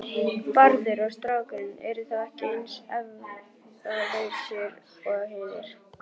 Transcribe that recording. Bárður og strákurinn eru þó ekki eins efalausir og hinir.